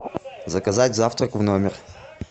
заказать завтрак в номер